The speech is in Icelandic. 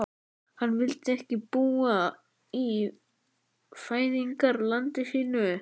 Hann vildi ekki búa í fæðingarlandi sínu.